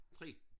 3